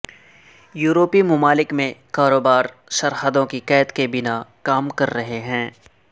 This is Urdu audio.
یورپی ممالک میں کاروبار سرحدوں کی قید کے بنا کام کر رہے ہیں